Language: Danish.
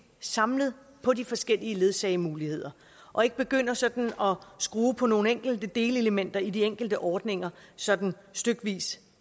samlet på de forskellige ledsagemuligheder og ikke begynder sådan at skrue på nogle enkelte delelementer i de enkelte ordninger sådan stykkevis